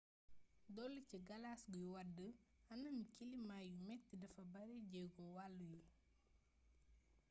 dolli ci galas guy wàdd anami kilimaa yu metti dafa baare jeego wàllu yi